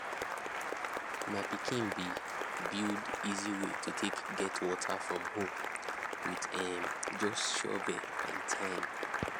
my pikin been build easy way to take take get water from hole with um just shovel and time